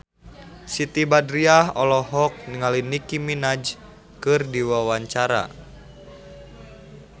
Siti Badriah olohok ningali Nicky Minaj keur diwawancara